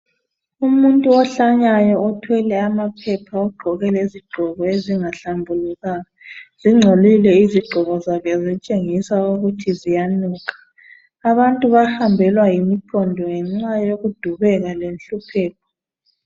Umuntu ohlanyayo othwele amaphepha ogqoke lezigqoko ezingahlambulukanga zingcolile izigqoko zakhe zitshengisa ukuthi ziyanuka. Abantu bahambelwa yimiqondo ngenxa yokudubeka lenhlupheko.